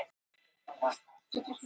Námumennirnir á heimleið fljótlega